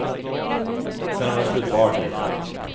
Sedan var det slut på artigheterna.